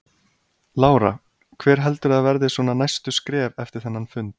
Lára: Hver heldurðu að verði svona næstu skref eftir þennan fund?